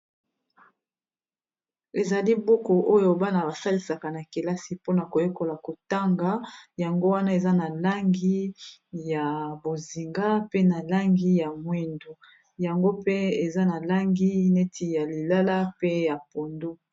Ezali buku oyo bana basalisaka na kelasi mpona koyekola kotanga yango wana eza na langi ya bozinga, pe na langi ya mwindu, yango pe eza na langi neti ya lilala pe ya pondu.